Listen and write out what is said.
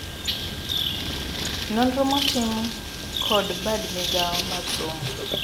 Nonro motim kod bad migao mar somo.